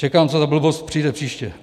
Čekám, co za blbost přijde příště.